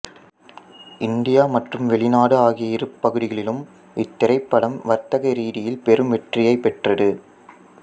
India மற்றும் வெளிநாடு ஆகிய இரு பகுதிகளிலும் இத்திரைப்படம் வர்த்தக ரீதியில் பெறும் வெற்றியை பெற்றது